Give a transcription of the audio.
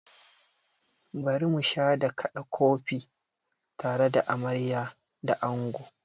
Bari musha da kaɗa kofi tare da amarya da ango!